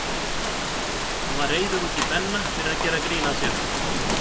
Hann var reiður út í Benna fyrir að gera grín að sér.